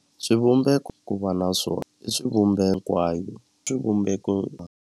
Swivumbeko ku va na swona i hikwayo swivumbeko.